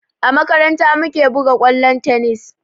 A makaranta mu ke buga kwallon tennis